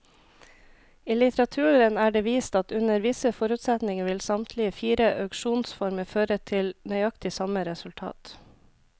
I litteraturen er det vist at under visse forutsetninger vil samtlige fire auksjonsformer føre til nøyaktig samme resultat.